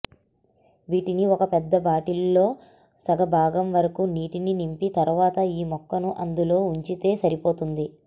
వీటిని ఒక పెద్ద బాటిల్లో సగ బాగం వరకూ నీటిని నింపి తర్వాత ఈ మొక్కను అందులో ఉంచితే సరిపోతుంది